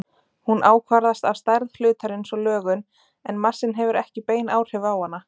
Hún ákvarðast af stærð hlutarins og lögun en massinn hefur ekki bein áhrif á hana.